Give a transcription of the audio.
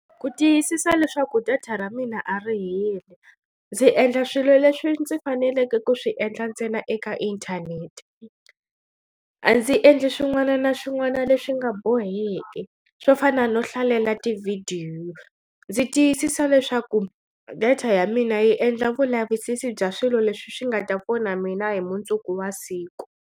Ku tiyisisa leswaku data ra mina a ri heli ndzi endla swilo leswi ndzi faneleke ku swi endla ntsena eka inthanete a ndzi endli swin'wana na swin'wana leswi nga boheki swo fana no hlalela tivhidiyo ndzi tiyisisa leswaku data ya mina yi endla vulavisisi bya swilo leswi swi nga ta pfuna mina hi mundzuku wa siku.